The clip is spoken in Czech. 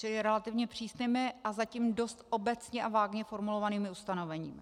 Čili relativně přísnými a zatím dost obecně a vágně formulovanými ustanoveními.